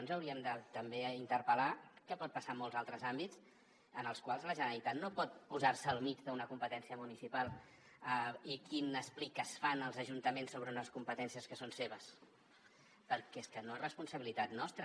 ens hauríem també d’interpel·lar què pot passar en molts altres àmbits en els quals la generalitat no pot posar se al mig d’una competència municipal i quines pliques fan els ajuntaments sobre unes competències que són seves perquè és que no és responsabilitat nostra